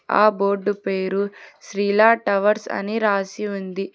ఆ బోర్డు పేరు శ్రీలా టవర్స్ అని రాసి ఉంది.